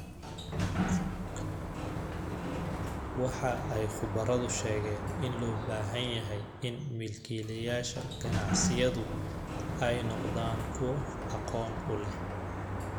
Waxa ay khubaradu sheegeen in loo baahan yahay in milkiilayaasha ganacsiyadu ay noqdaan kuwo aqoon u leh